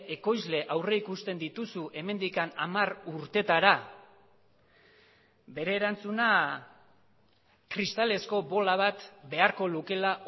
ekoizle aurrikusten dituzu hemendik hamar urteetara bere erantzuna kristalezko bola bat beharko lukeela